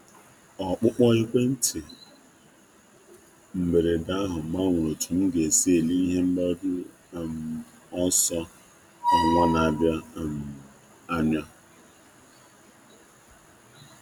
um Oku ekwentị ahụ a na-atụghị anya ya um gbanwere ka m si eme atụmatụ um ebumnuche nke ọnwa na-abịa.